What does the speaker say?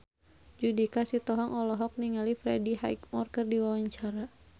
Judika Sitohang olohok ningali Freddie Highmore keur diwawancara